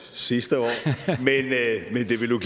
sidste år men det ville